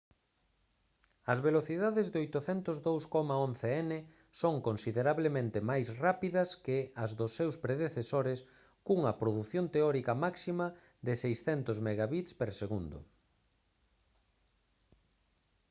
as velocidades de 802,11n son considerablemente máis rápidas que as dos seus predecesores cunha produción teórica máxima de 600mbit/s